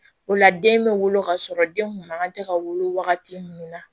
O la den bɛ wolo kasɔrɔ den kun man kan tɛ ka wolo wagati min na